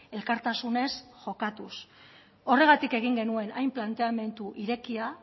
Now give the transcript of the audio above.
elkartasunez jokatuz horregatik egin genuen hain planteamendu irekia